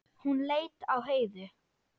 Hún leit á Heiðu.